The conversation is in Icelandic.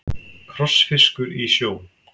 Krossfiskur í sjó.